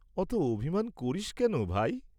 অত অভিমান করিস্ কেন, ভাই?